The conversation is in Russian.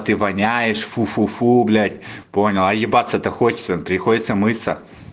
ты воняешь фу фу фу блять понял ебаться то хочется приходится мыться